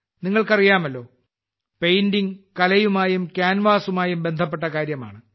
നിങ്ങൾക്കറിയാമല്ലോ പെയിന്റിംഗ് കലയുമായും ക്യാൻവാസുമായും ബന്ധപ്പെട്ട കാര്യമാണ്